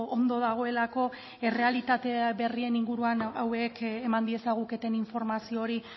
ondo dagoelako errealitate berrien inguruan hauek eman diezaguketen informazio hori